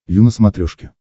ю на смотрешке